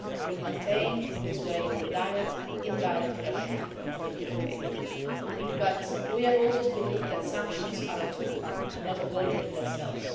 We will maintain, in this way, the direct and indirect pressure on DPRK. But we have always believed that sanctions are a tool and not a goal in themselves.